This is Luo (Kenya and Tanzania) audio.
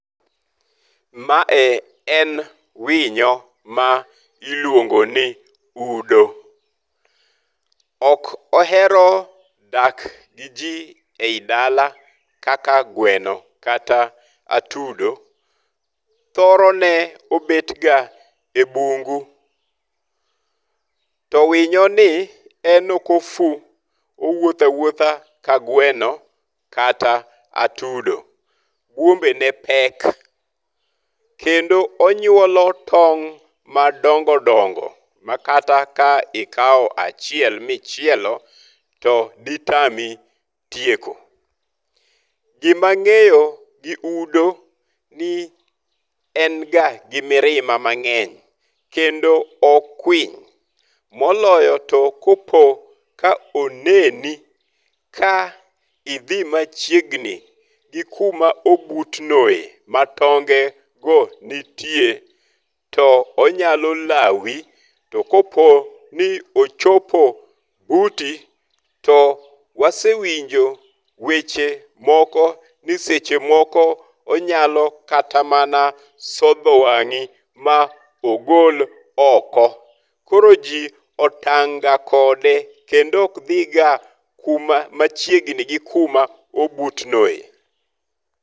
Ma e en winyo ma iluongo ni udo. Ok ohero dak gi ji eyi dala kaka gweno kata atudo. Thoro ne obet ga e bungu. To winyo ni en ok ofu. Owuotho awuotha ka gweno kata atudo. Bwombe ne pek. Kendo onyuolo tong' madongodongo ma kata ikawo achiel michielo to ditami tieko. Gima ang'eyo gi udo ni en ga mirima mang'eny. Kendo okwiny. Moloyo to koponi oneni ka idhi machiegni gi kuma obutnoe ma tonge go nitie. To onyalo lawi. To kopo ni ochopo buti, to wasewinjo weche moko ni seche moko onyalo kata mana sodho wang'i ma ogol oko. Koro ji otang' ga kode kendo ok dhi ga kuma machiegni gi kuma obutnoe.